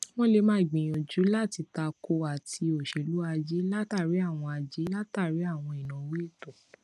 wọn lè máa gbìyànjú láti tako àti òṣèlú ajé látàri àwọn ajé látàri àwọn ìnáwó ètò